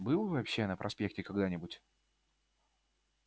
был вообще на проспекте когда-нибудь